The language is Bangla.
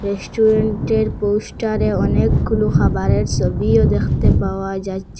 রেস্টুরেন্টের পোস্টারে অনেকগুলো খাবারের সবিও দেখতে পাওয়া যাচ্চে।